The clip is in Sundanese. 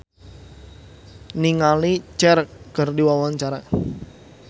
Agatha Chelsea olohok ningali Cher keur diwawancara